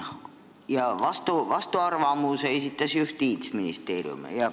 Vastuarvamuse esitas Justiitsministeerium.